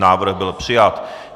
Návrh byl přijat.